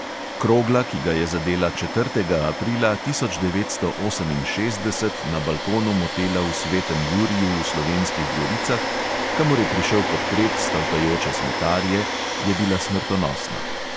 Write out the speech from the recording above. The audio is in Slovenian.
Krogla, ki ga je zadela četrtega aprila tisoč devetsto oseminšestdeset na balkonu motela v svetem juriju v slovenskih goricah, kamor je prišel podpret stavkajoče smetarje, je bila smrtonosna.